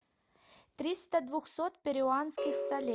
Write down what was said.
триста двухсот перуанских солей